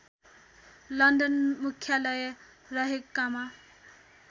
London मुख्यालय रहेकामा